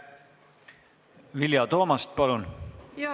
Vilja Toomast, palun!